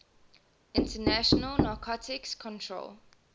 international narcotics control